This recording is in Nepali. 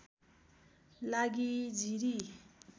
लागि जिरी